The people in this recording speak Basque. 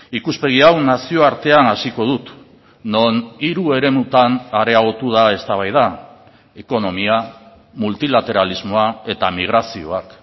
ikuspegi hau nazioartean hasiko dut non hiru eremutan areagotu da eztabaida ekonomia multilateralismoa eta migrazioak